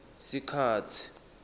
sikhatsi